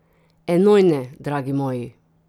Enojne, dragi moji!